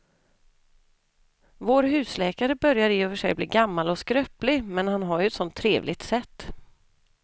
Vår husläkare börjar i och för sig bli gammal och skröplig, men han har ju ett sådant trevligt sätt!